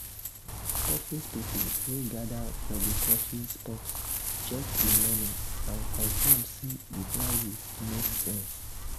office people wey gather for the coffee spot check the menu and confirm say the prices make sense.